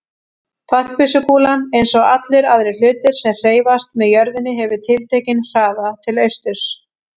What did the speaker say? Fallbyssukúlan, eins og allir aðrir hlutir sem hreyfast með jörðinni, hefur tiltekinn hraða til austurs.